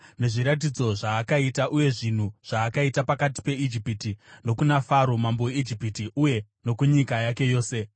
nezviratidzo zvaakaita uye zvinhu zvaakaita pakati peIjipiti, nokuna Faro mambo weIjipiti uye nokunyika yake yose;